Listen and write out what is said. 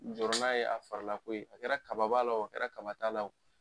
Jɔrɔna ye a farilko ye, a kɛra kaba b'a wo, a kɛlɛ la kaba t'a la wo.